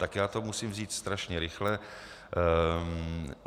Tak já to musím vzít strašně rychle.